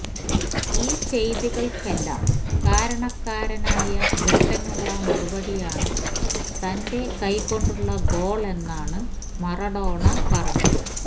ഈ ചെയ്തികൾക്കെല്ലാം കാരണക്കാരനായ ബ്രിട്ടനുള്ള മറുപടിയാണ് തന്റെ കൈ കൊണ്ടുള്ള ഗോൾ എന്നാണ് മറാഡോണ പറഞ്ഞത്